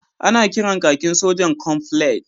Ana kiran kakin sojan Camouflage